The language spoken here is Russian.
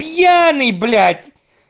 пьяный блять